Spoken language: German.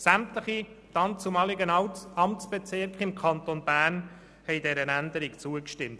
Sämtliche damaligen Amtsbezirke im Kanton Bern haben dieser Änderung zugestimmt.